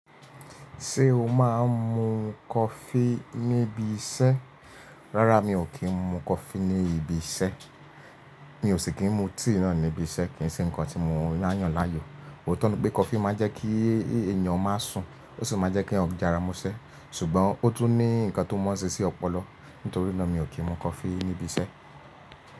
Ṣé o máa ń mu coffee níbi iṣẹ́? Rárá, mi ò kí ń mu coffee ní ibi iṣẹ́. Mi ò sì kí ń mu tea náà níbi iṣẹ́, kò ṣe ǹkan tí mo yàn láàyò. Óòtó ni pé coffee máa ń jẹ́ kí èèyàn má sùn, ó sì máa ń jẹ́ kí èèyàn jára mọ́ṣẹ́. Ṣùgbọ́n ó tún ní ǹkan tó mọ́ ṣe sí ọpọlọ. Nítorí náà, mi ò kí ń mu coffee níbi iṣẹ́.